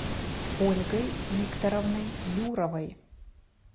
ольгой викторовной юровой